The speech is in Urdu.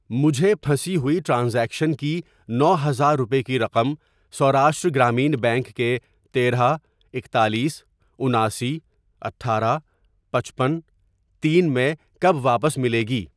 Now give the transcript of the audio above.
مجھے پھنسی ہوئی ٹرانزیکشن کی نو ہزار روپے کی رقم سوراشٹرہ گرامین بینک کے تیرہ ، اکتالیس ، اناسی ، اٹھارہ ، پچپن ، تین ، میں کب واپس ملے گی؟